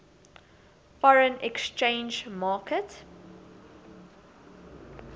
foreign exchange market